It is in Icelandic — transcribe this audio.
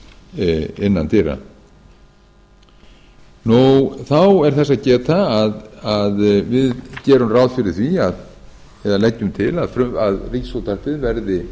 við fasteignir verði tengt fasteignagjöldum innan dyra þá er þess að geta að við gerum ráð fyrir því eða leggjum til að ríkisútvarpið verði